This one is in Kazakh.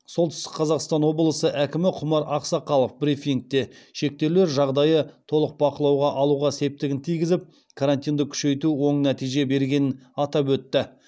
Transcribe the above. солтүстік қазақстан облысы әкімі құмар ақсақалов брифингте шектеулер жағдайы толық бақылауға алуға септігін тигізіп карантинді күшейту оң нәтиже бергенін атап өтті